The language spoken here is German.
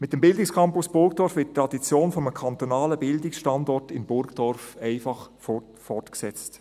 Mit dem Bildungscampus Burgdorf wird die Tradition eines kantonalen Bildungsstandorts in Burgdorf einfach fortgesetzt.